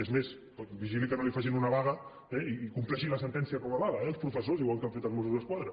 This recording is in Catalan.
és més vigili que no li facin una vaga i compleixin la sentència com a vaga eh els professors igual que han fet els mossos d’esquadra